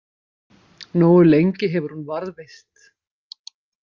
Nógu lengi hefur hún varðveist.